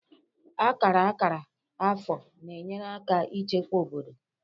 Akara akara afọ na-enyere aka ichekwa obodo